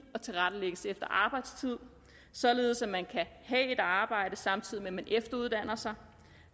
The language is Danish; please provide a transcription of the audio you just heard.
og tilrettelægges efter arbejdstid således at man kan have et arbejde samtidig med at man efteruddanner sig